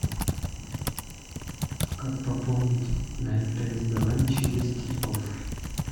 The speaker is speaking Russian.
как пополнить на мтс билайн через тинькофф